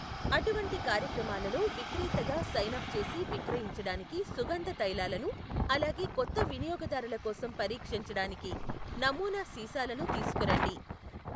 అటువంటి కార్యక్రమాలలో విక్రేతగా సైన్ అప్ చేసి విక్రయించడానికి సుగంధ తైలాలను, అలాగే కొత్త వినియోగదారుల కోసం పరీక్షించడానికి నమూనా సీసాలను తీసుకురండి.